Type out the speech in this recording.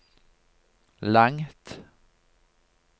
langt